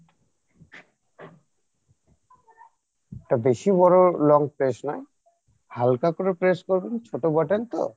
এটা বেশি বড়ো long press নয় হালকা করে press করবেন ছোটো button তো